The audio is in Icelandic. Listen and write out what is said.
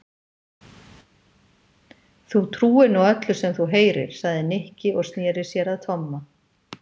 Þú trúir nú öllu sem þú heyrir sagði Nikki og snéri sér að Tomma.